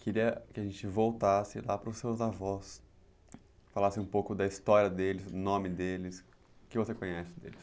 Queria que a gente voltasse lá para os seus avós, falasse um pouco da história deles, o nome deles, o que você conhece deles.